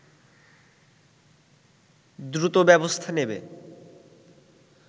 দ্রুত ব্যবস্থা নেবে